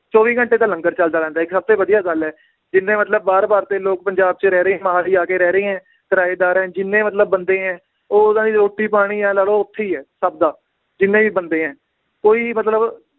ਚੌਵੀ ਘੰਟੇ ਤਾਂ ਲੰਗਰ ਚਲਦਾ ਰਹਿੰਦਾ ਏ ਇੱਕ ਸਭ ਤੋਂ ਵਧੀਆ ਗੱਲ ਏ ਜਿੰਨੇ ਮਤਲਬ ਬਾਹਰ ਬਾਹਰ ਦੇ ਲੋਕ ਪੰਜਾਬ ਚ ਰਹਿ ਰਹੇ ਮੋਹਾਲੀ ਆ ਕੇ ਰਹਿ ਰਹੇ ਹੈ ਕਿਰਾਏਦਾਰ ਏ ਜਿੰਨੇ ਮਤਲਬ ਬੰਦੇ ਏ, ਉਹ ਉਹਨਾਂ ਦੀ ਰੋਟੀ ਪਾਣੀ ਇਉਂ ਲਾ ਲਓ, ਓਥੇ ਹੀ ਹੈ, ਸਬ ਦਾ ਜਿੰਨੇ ਵੀ ਬੰਦੇ ਏ ਕੋਈ ਵੀ ਮਤਲਬ